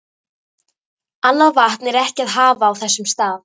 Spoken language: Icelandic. Annað vatn er ekki að hafa á þessum stað.